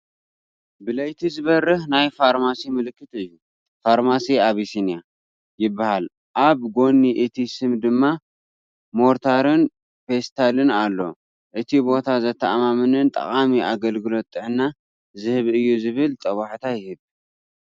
ብለይቲ ዝበርህ ናይ ፋርማሲ ምልክት እዩ። "ፋርማሲ ኣቢሲንያ" ይበሃል ኣብ ጎኒ እቲ ስም ድማ ሞርታርን ፔስትልን ኣሎ። እቲ ቦታ ዘተኣማምንን ጠቓምን ኣገልግሎት ጥዕና ዝህብ እዩ ዝብል ጦብላሕታ ይህብ፡፡